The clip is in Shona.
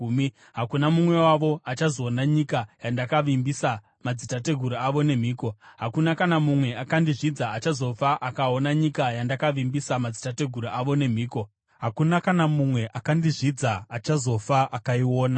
hakuna mumwe wavo achazoona nyika yandakavimbisa madzitateguru avo nemhiko. Hakuna kana mumwe akandizvidza achazofa akaona nyika yandakavimbisa madzitateguru avo nemhiko. Hakuna kana mumwe akandizvidza achazofa akaiona.